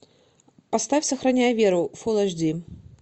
поставь сохраняя веру фул эйч ди